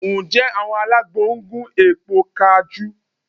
Ǹjẹ́ àwọn alágbo ń gún èpo kajú?